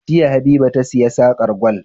Jiya habiba ta siya sarƙar gwal